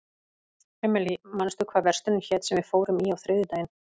Emely, manstu hvað verslunin hét sem við fórum í á þriðjudaginn?